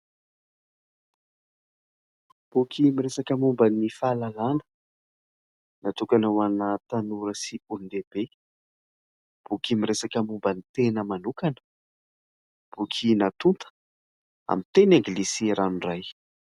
Boky miresaka momba ny fahalalàna, natokana ho ana tanora sy olon-dehibe. Boky miresaka momba ny tena manokana, boky natonta amin'ny teny Anglisy ranoray.